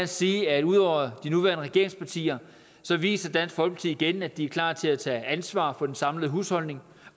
sige at ud over de nuværende regeringspartier viser dansk folkeparti igen at de er klar til at tage ansvar for den samlede husholdning